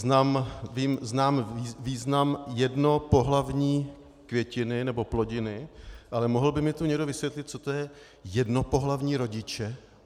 Znám význam jednopohlavní květiny nebo plodiny, ale mohl by mi tu někdo vysvětlit, co jsou to jednopohlavní rodiče?